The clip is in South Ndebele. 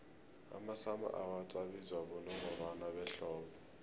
amasummer awards abizwa bonongorwana behlobo